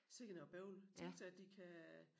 Sikke noget bøvl tænk sig at de kan